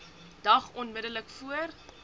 dag onmiddellik voor